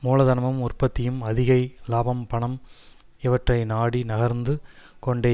மூலதனமும் உற்பத்தியும் அதிக இலாபம் பணம் இவற்றை நாடி நகர்ந்து கொண்டே